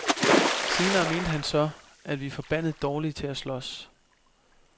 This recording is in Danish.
Senere mente han så, at vi er forbandet dårlige til at slås.